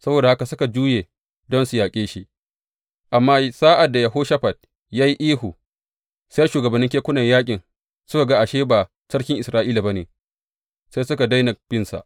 Saboda haka suka juye don su yaƙe shi, amma sa’ad da Yehoshafat ya yi ihu, sai shugabannin kekunan yaƙin suka ga ashe ba sarkin Isra’ila ba ne, sai suka daina binsa.